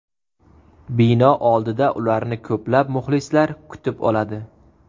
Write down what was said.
Bino oldida ularni ko‘plab muxlislar kutib oladi.